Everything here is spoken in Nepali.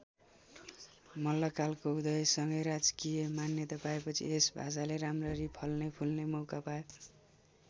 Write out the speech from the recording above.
मल्लकालको उदयसँगै राजकीय मान्यता पाएपछि यस भाषाले राम्ररी फल्ने फुल्ने मौका पायो।